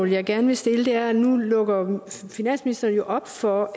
jeg gerne vil stille er nu lukker finansministeren op for